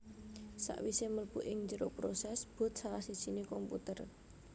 Sakwisé mlebu ing njero prosès boot salah sijiné komputer